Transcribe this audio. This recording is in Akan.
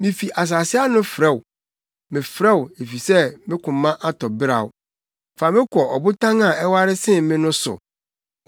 Mifi asase ano frɛ wo, mefrɛ wo, efisɛ me koma atɔ beraw; fa me kɔ ɔbotan a ɛware sen me no so.